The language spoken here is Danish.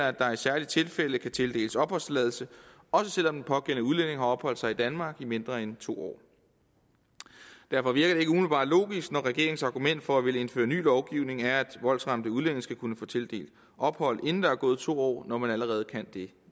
at der i særlige tilfælde kan tildeles opholdstilladelse også selv om den pågældende udlænding har opholdt sig i danmark i mindre end to år derfor virker det ikke umiddelbart logisk når regeringens argument for at ville indføre ny lovgivning er at voldsramte udlændinge skal kunne få tildelt ophold inden der er gået to år altså når man allerede kan det